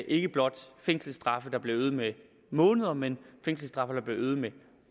ikke blot fængselsstraffe der bliver øget med måneder men fængselsstraffe der bliver øget med